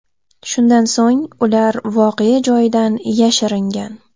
Shundan so‘ng ular voqea joyidan yashiringan.